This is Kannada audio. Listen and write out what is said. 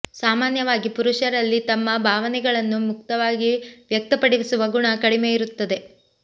ಸಾಮಾನ್ಯವಾಗಿ ಪುರುಷರಲ್ಲಿ ತಮ್ಮ ಭಾವನೆಗಳನ್ನು ಮುಕ್ತವಾಗಿ ವ್ಯಕ್ತಪಡಿಸುವ ಗುಣ ಕಡಿಮೆ ಇರುತ್ತದೆ